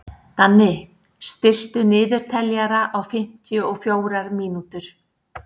Danni, stilltu niðurteljara á fimmtíu og fjórar mínútur.